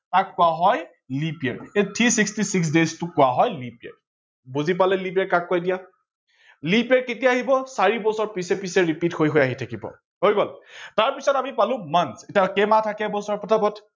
তাক কোৱা হয় leap year three sixty six days টো কোৱা হয় leap year, বুজি পালে leap year কাক কয় এতিয়া? leap year কেতিয়া আহিব চাৰি বছৰ পিছে পিছে repeat হৈ হৈ আহি থাকিব হৈ গল। তাৰ পাছত আমি পালো month কেই মাহ থাকে বছৰৰ